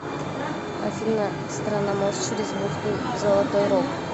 афина страна мост через бухту золотой рог